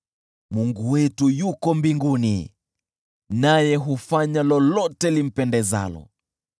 Mungu wetu yuko mbinguni, naye hufanya lolote limpendezalo.